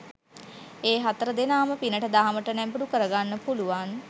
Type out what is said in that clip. ඒ හතර දෙනාම පිනට දහමට නැඹුරු කරගන්න පුළුවන්